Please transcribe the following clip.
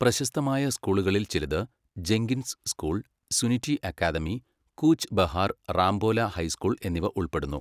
പ്രശസ്തമായ സ്കൂളുകളിൽ ചിലത് Jenkins school, Suniti academy, Cooch Behar Rambhola high school എന്നിവ ഉൾപ്പെടുന്നു.